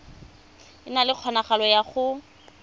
na le kgonagalo ya go